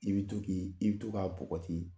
I bɛ to ki, i bɛ to k'a npogoti